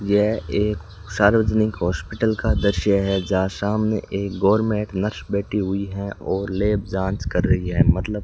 यह एक सार्वजनिक हॉस्पिटल का दृश्य है जहां सामने एक गवर्नमेंट नर्स बैठी हुई है और लैब जांच कर रही है मतलब --